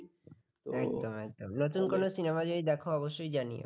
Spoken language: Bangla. দেখো অবশ্যই জানিও